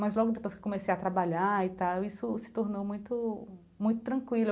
Mas logo depois que comecei a trabalhar e tal, isso se tornou muito muito tranquilo.